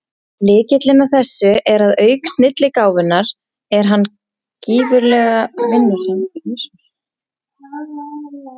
Lykillinn að þessu er að auk snilligáfunnar er hann gífurlega vinnusamur.